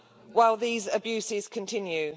while these abuses continue.